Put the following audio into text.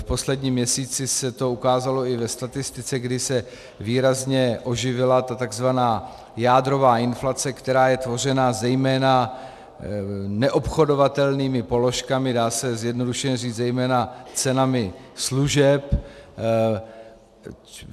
V posledním měsíci se to ukázalo i ve statistice, kdy se výrazně oživila ta tzv. jádrová inflace, která je tvořena zejména neobchodovatelnými položkami, dá se zjednodušeně říct zejména cenami služeb.